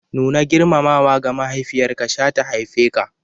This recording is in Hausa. Nuna girmamawa ga mahaifiyarka, sha ta haife ka.